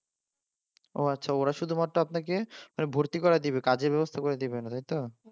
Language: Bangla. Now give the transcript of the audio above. ও আচ্ছা ওরা শুধুমাত্র আপনাকে মানে ভর্তি করার দেবে কিন্তু কাজের ব্যবস্থা করে দেবে না তাইতো?